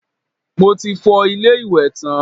Mo ti fọ ilé-ìwẹ̀ tán